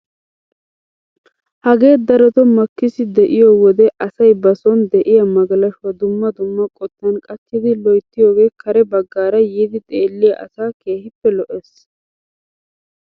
Hagee darotoo makkisiy de'iyoo wode asay ba soni de'iyaa magalshshuwaa dumma dumma qottan qachchidi loytiyooge kare baggaara yiidi xeelliyaa asaa keehippe lo"ees.